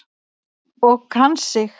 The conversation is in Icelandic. Og kann sig.